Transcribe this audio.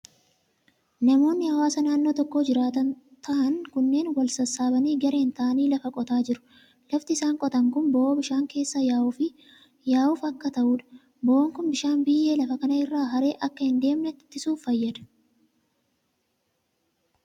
Namoonni hawaasa naannoo tokko jiraatan ta'an kunneen wal sassaabanii gareen ta'anii, lafa qotaa jiru. Lafti isaan qotan kun bo'oo bishaan keessa yaa'uuf akka ta'uu dha. Bo'oon kun bishaan biyyee lafa kana irraa haree akka hin deemne ittisuuf fayyada.